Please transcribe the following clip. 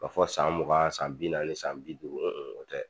K'a fɔ san mugan san bi naani san bi duuru o tɛ